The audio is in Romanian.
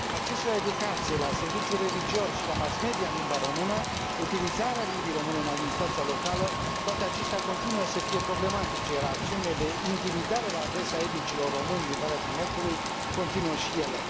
Accesul la educație, la serviciul religios și la mass media în limba română, utilizarea limbii române în administrația locală, toate acestea continuă să fie problematice, iar acțiunile de intimidare la adresa etnicilor români din Valea Timocului continuă și ele.